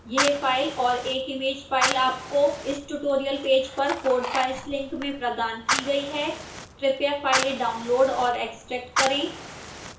यह फ़ाइल और एक image फ़ाइल आपको इस tutorial पेज पर code files link में प्रदान की गई है कृपया file डाउनलोड और एक्स्ट्रैक्ट करें